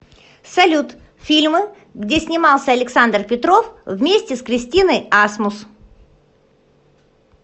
салют фильмы где снимался александр петров вместе с кристиной асмус